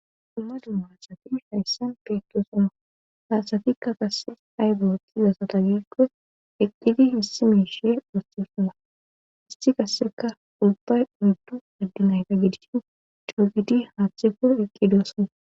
dumma dumma haasati hayssan piikosoma hasatikka qasse haybootizasata gikqo eqqidi hissi miishe wohesona isti qasseka ubbay udddu addi nayta gidishin cuquti haaththe kur eqqidoosona